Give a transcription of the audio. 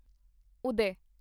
ਉਦੈ